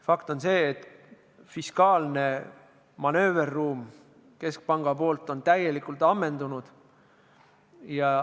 Fakt on see, et keskpanga fiskaalne manööverruum on täielikult ammendunud.